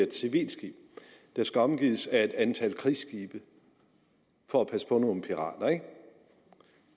et civilt skib der skal omgives af et antal krigsskibe for at passe på nogle pirater